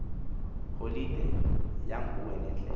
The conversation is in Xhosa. holide yanguwe nendlela